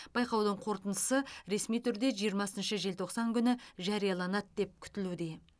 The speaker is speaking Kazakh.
байқаудың қорытындысы ресми түрде жиырмасыншы желтоқсан күні жарияланады деп күтілуде